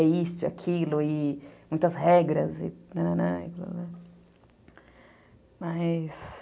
É isso, aquilo, muitas regras.